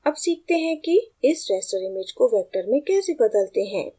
अब सीखते हैं कि इस raster image को vector में कैसे बदलते हैं